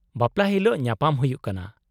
-ᱵᱟᱯᱞᱟ ᱦᱤᱞᱳᱜ ᱧᱟᱯᱟᱢ ᱦᱩᱭᱩᱜ ᱠᱟᱱᱟ !